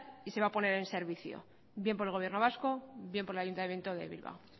y se va a poner en servicio bien por el gobierno vasco bien por el ayuntamiento de bilbao